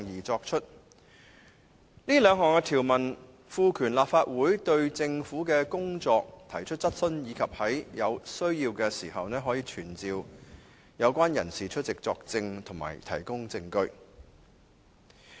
這兩項條文賦權立法會對政府的工作提出質詢，以及可在有需要時傳召有關人士出席作證和提供證據。